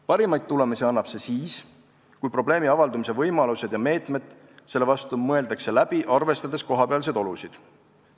Parimaid tulemusi annab see siis, kui probleemi avaldumise võimalused ja meetmed selle vastu mõeldakse läbi, arvestades kohapealseid olusid.